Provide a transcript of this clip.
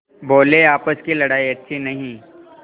बोलेआपस की लड़ाई अच्छी नहीं